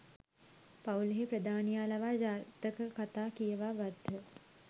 පවුලෙහි ප්‍රධානියා ලවා ජාතක කතා කියවා ගත්හ.